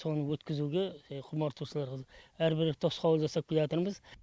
соны өткізуге құмартушылар әрбір тосқауыл жасап келятырмыз